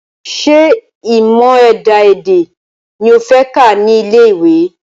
Ṣé ìmọ̀ ẹ̀dá-èdè ni o fẹ́ kà ní ilé ìwé?